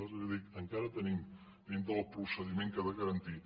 és a dir encara tenim dintre del procediment que ha de garantir